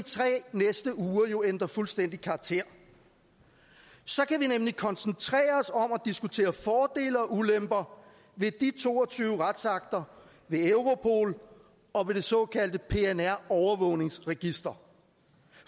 næste tre uger jo ændre fuldstændig karakter så kan vi nemlig koncentrere os om diskutere fordele og ulemper ved de to og tyve retsakter ved europol og ved det såkaldte pnr overvågningsregister